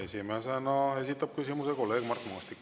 Esimesena esitab küsimuse kolleeg Mart Maastik.